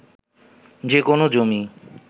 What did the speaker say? যে কোনো জমি